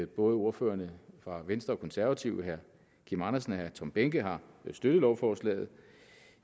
både ordførererne fra venstre og konservative herre kim andersen og herre tom behnke har støttet lovforslaget